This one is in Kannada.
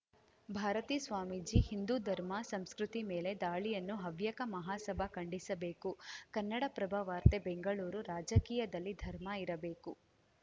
ಭಾರತೀ ಸ್ವಾಮೀಜಿ ಹಿಂದೂ ಧರ್ಮ ಸಂಸ್ಕೃತಿ ಮೇಲೆ ದಾಳಿಯನ್ನು ಹವ್ಯಕ ಮಹಾಸಭಾ ಖಂಡಿಸಬೇಕು ಕನ್ನಡಪ್ರಭ ವಾರ್ತೆ ಬೆಂಗಳೂರು ರಾಜಕೀಯದಲ್ಲಿ ಧರ್ಮ ಇರಬೇಕು